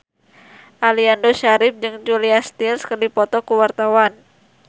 Aliando Syarif jeung Julia Stiles keur dipoto ku wartawan